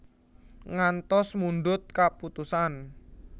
Ngantos mundhut kaputusan